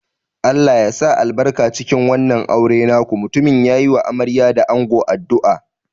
Allah ya sa albarka cikin wannan auren naku, mutumin ya yi wa amarya da ango addu'a.